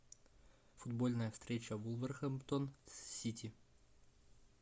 футбольная встреча вулверхэмптон с сити